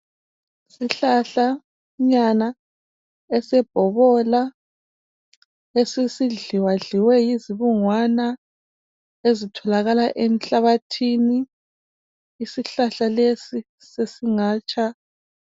Isihlahlanyana esebhobola esesidliwadliwe yizibungwana ezitholalakala enhlabathini. Isihlahla lesi sesingatsha.